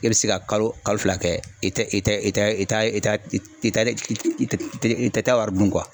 E bɛ se ka kalo kalo fila kɛ i tɛ i tɛ i tɛ i ta i ta e i tɛ taa wari dun